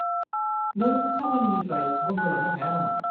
नों खामानिनिफ्राय बन्द लानो हाया नामा?